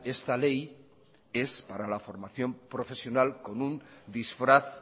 esta ley es para la formación profesional con un disfraz